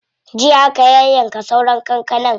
Jiya aka yayyanka sauran kankanar.